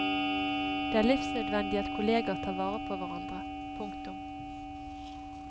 Det er livsnødvendig at kolleger tar vare på hverandre. punktum